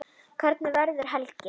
Hvernig verður helgin?